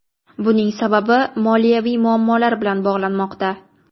Buning sababi moliyaviy muammolar bilan bog‘lanmoqda.